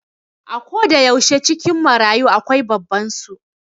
A koda yaushe a cikin marayu akwai babban su